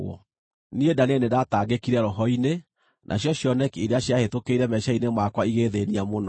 “Niĩ Danieli nĩndatangĩkire roho-inĩ, nacio cioneki iria ciahĩtũkĩire meciiria-inĩ makwa igĩĩthĩĩnia mũno.